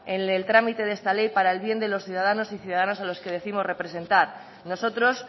en el trámite de esta ley para el bien de los ciudadanos y ciudadanas a los que décimos representar nosotros